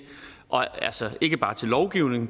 ikke bare til lovgivning